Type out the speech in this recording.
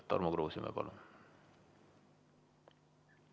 Tarmo Kruusimäe, palun!